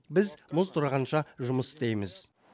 біз мұз тұрғанша жұмыс істейміз